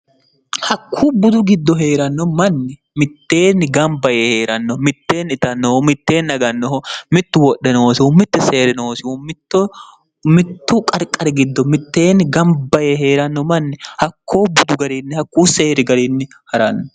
hakkuu budu giddo hee'ranno manni mitteenni gamba yee hee'ranno mitteenni itannoho mitteenni agannoho mittu wodhe noosihu mitte seeri noosihu mittu qarqari giddo mitteenni gamba yee hee'ranno manni hakkoo budu gariinni hakkuu seeri gariinni ha'ranno